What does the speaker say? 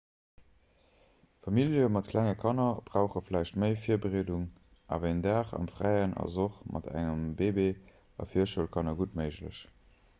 famillje mat klenge kanner brauche vläicht méi virbereedung awer een dag am fräien ass och mat engem bëbee a virschoulkanner gutt méiglech